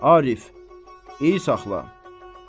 Arif, iyi saxla.